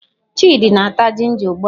Chidi na-ata ginger ugbua.